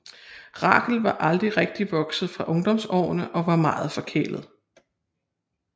Rachel var aldrig rigtig vokset fra ungdomsårene og var meget forkælet